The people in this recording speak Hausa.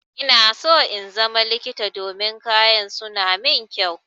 Ina so in zama likita domin kayan su na mun kyau.